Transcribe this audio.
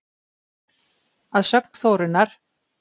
Að sögn Þórunnar